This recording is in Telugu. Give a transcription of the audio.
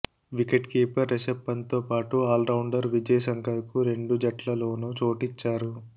వికెట్ కీపర్ రిషబ్ పంత్తోపాటు ఆల్రౌండర్ విజయ్శంకర్కు రెండు జట్లలోనూ చోటిచ్చారు